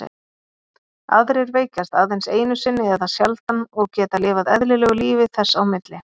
Aðrir veikjast aðeins einu sinni eða sjaldan og geta lifað eðlilegu lífi þess á milli.